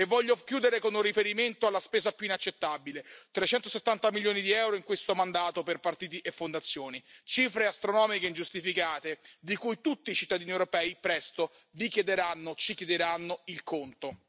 Voglio chiudere con riferimento alla spesa più inaccettabile i 370 milioni di euro in questo mandato per partiti e fondazioni, cifre astronomiche e ingiustificate di cui tutti i cittadini europei, presto, vi chiederanno, ci chiederanno, il conto.